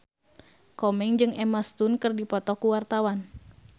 Komeng jeung Emma Stone keur dipoto ku wartawan